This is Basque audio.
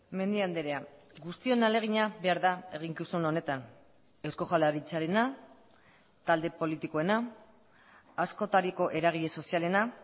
mendia andrea guztion ahalegina behar da eginkizun honetan eusko jaurlaritzarena talde politikoena askotariko eragile sozialena